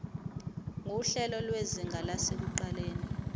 nguhlelo lwezinga lasekuqaleni